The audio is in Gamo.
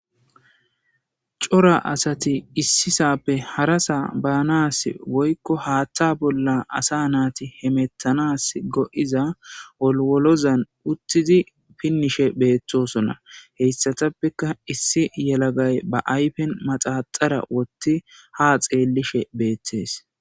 Cora asati issisape harasa baanas woykko haaththa bolla asa naati hemetanasi go'iza wolwolozan uttidi pinnishe beetosona hessatappeka issi yelagay ba ayfen maxaxara woththi ha xeellishe beettees.